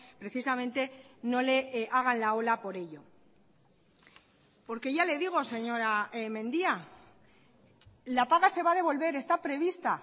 precisamente no le hagan la ola por ello porque ya le digo señora mendia la paga se va a devolver está prevista